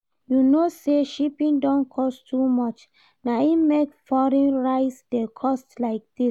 You know say shipping don cost too much, na im make foreign rice dey cost like this